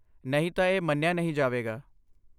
ਨਹੀਂ ਤਾਂ, ਇਸ ਮੰਨੀਆ ਨਹੀਂ ਜਾਵੇਗਾ